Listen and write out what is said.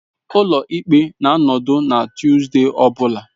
Ụlọ ikpe na-anọdụ na Tuesday ọ bụla.